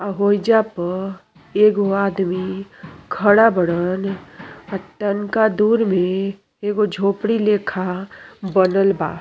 आ होइजा प एगो आदमी खड़ा बड़नी आ तनका दूर में एगो झोपड़ी लेखा बनल बा।